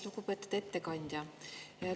Lugupeetud ettekandja!